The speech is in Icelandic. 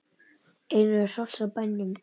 Einnig eru hross á bænum.